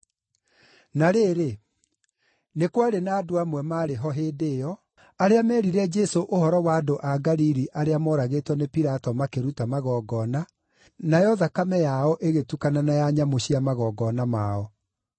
Na rĩrĩ, nĩ kwarĩ na andũ amwe maarĩ ho hĩndĩ ĩyo, arĩa meerire Jesũ ũhoro wa andũ a Galili arĩa mooragĩtwo nĩ Pilato makĩruta magongona, nayo thakame yao igĩtukana na ya nyamũ cia magongona mao.